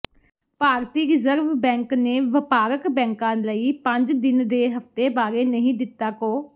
ਭਾਰਤੀ reserve bank ਨੇ ਵਪਾਰਕ ਬੈਂਕਾ ਲਈ ਪੰਜ ਦਿਨ ਦੇ ਹਫਤੇ ਬਾਰੇ ਨਹੀਂ ਦਿੱਤਾ ਕੋ